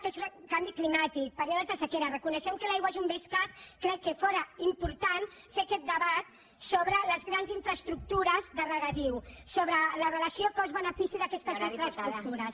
canvi climàtic períodes de sequera reconeixem que l’aigua és un bé escàs crec que fóra important fer aquest debat sobre les grans infraestructures de regadiu sobre la relació cost benefici d’aquestes infraestructures